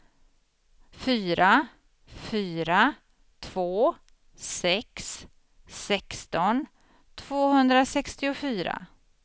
fyra fyra två sex sexton tvåhundrasextiofyra